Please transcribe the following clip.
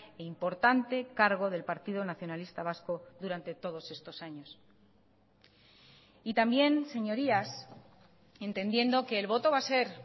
e importante cargo del partido nacionalista vasco durante todos estos años y también señorías entendiendo que el voto va a ser